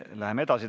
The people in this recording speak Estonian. Läheme edasi.